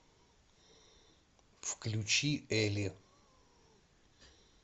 включи эли